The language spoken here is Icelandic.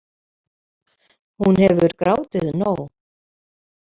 Hún hefur grátið nóg.